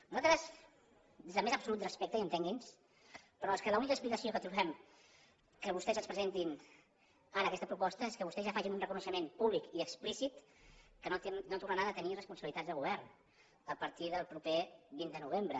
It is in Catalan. nosaltres des del més absolut respecte i entengui’ns però és que l’única explicació que trobem que vostès ens presentin ara aquesta proposta és que vostès ja facin un reconeixement públic i explícit que no tornaran a tenir responsabilitats de govern a partir del proper vint de novembre